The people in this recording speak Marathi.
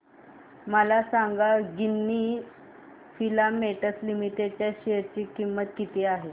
मला सांगा गिन्नी फिलामेंट्स लिमिटेड च्या शेअर ची किंमत किती आहे